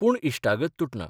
पूण इश्टागत तुटना.